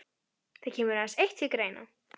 Það kemur aðeins eitt til greina.